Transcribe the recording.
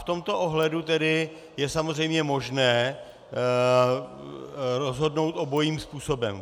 V tomto ohledu tedy je samozřejmě možné rozhodnout obojím způsobem.